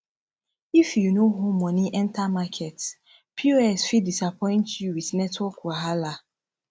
if yu no hold money enter market pos fit disappoint yu wit network wahala